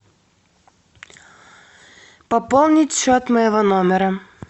пополнить счет моего номера